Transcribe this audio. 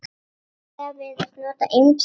Prestar virðast nota ýmis heiti.